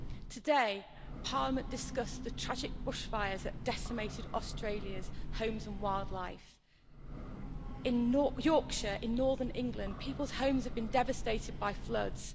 Today, Parliament discussed the tragic bushfires that have decimated Australia's homes and wildlife. In Yorkshire, in northern England, people's homes have been devastated by floods.